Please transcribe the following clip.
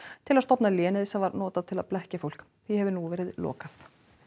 til að stofna lénið sem var notað til að blekkja fólk því hefur nú verið lokað